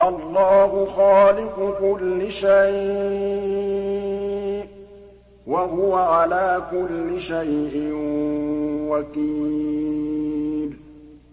اللَّهُ خَالِقُ كُلِّ شَيْءٍ ۖ وَهُوَ عَلَىٰ كُلِّ شَيْءٍ وَكِيلٌ